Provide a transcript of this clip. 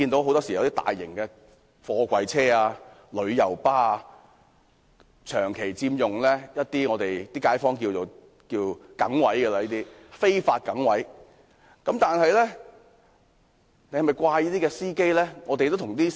很多大型貨櫃車及旅遊巴長期佔用街坊所說的"梗位"，而這些"梗位"都是非法的。